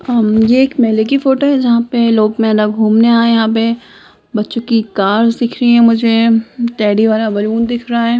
अम्म यह एक मेले की फोटो है जहां पे लोग मेला घूमने आए है यहाँ पे बच्चों की कार्स दिख रही है मझे टेडी वाला बलून दिख रहा है।